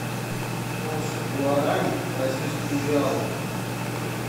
курс гуарани к бразильскому реалу